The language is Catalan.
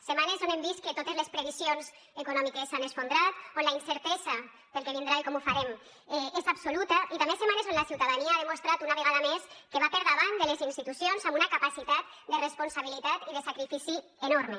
setmanes on hem vist que totes les previsions econòmiques s’han esfondrat on la incertesa pel que vindrà i com ho farem és absoluta i també setmanes on la ciutadania ha demostrat una vegada més que va per davant de les institucions amb una capacitat de responsabilitat i de sacrifici enorme